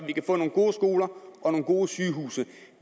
vi kan få nogle gode skoler og nogle gode sygehuse